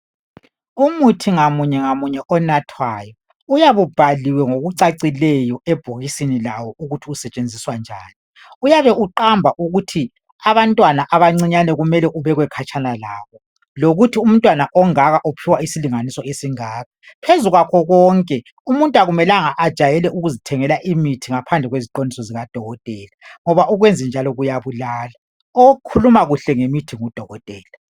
Umuthi ngamunye ngamunye onathwayo uyabu bhaliwe ngokucacileyo ebhokisini lawo ukuthi usetshenziswa njani, uyabe uqamba ukuthi abantwana abancinyane kumele kubekwe khatshana labo, lokuthi umntwana ongaka uphiwa isilinganiso esingaka. Phezu kwakho konke umuntu akumelanga ajayele ukuzithengela imithi ngaphandle kweziqondiso zika dokotela ngoba ukwenza njalo kuyabulala, okhuluma kahle ngemithi ngudokotela.